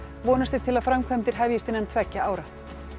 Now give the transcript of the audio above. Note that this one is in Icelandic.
vonast er til að framkvæmdir hefjist innan tveggja ára